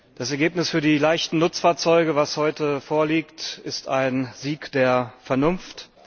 Das Ergebnis für die leichten Nutzfahrzeuge, das heute vorliegt, ist ein Sieg der Vernunft.